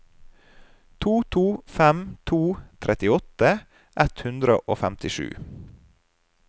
to to fem to trettiåtte ett hundre og femtisju